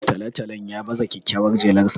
Talo-talon ya baza kyakkyawar jelarsa